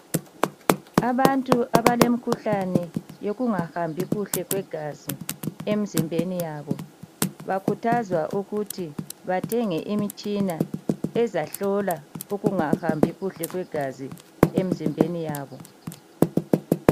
Abantu abalemikhuhlane yokunga hambi kuhle kwegazi imzimbeni yabo , bakhuthazwa ukuthi bathenge imitshina ezahlola ukungahambi kuhle kwegazi emzimbeni yabo.